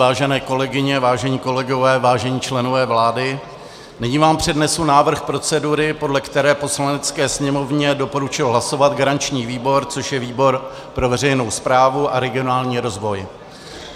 Vážené kolegyně, vážení kolegové, vážení členové vlády, nyní vám přednesu návrh procedury, podle které Poslanecké sněmovně doporučil hlasovat garanční výbor, což je výbor pro veřejnou správu a regionální rozvoj.